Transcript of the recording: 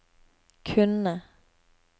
kunne